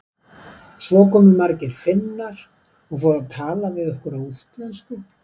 Svo komu margir Finnar og fóru að tala við okkur á útlensku.